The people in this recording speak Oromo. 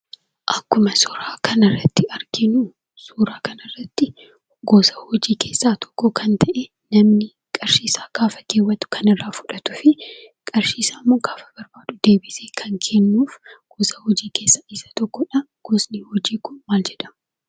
Akkuma suuraa kanarratti arginu, suuraa kana irrattii gosa hojii keessaa tokko kan ta'ee, namni qarshii isaa gaafa keewwatu kanirraa fudhatuufii qarshiisammo gaafa barbaadu deebisee kan kennuuf gosa hojii keessaa isa tokkodha. Gosni hojii kun maal jedhama?